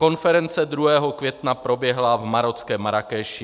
Konference 2. května proběhla v marockém Marrákeši.